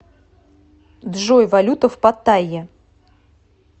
джой валюта в паттайе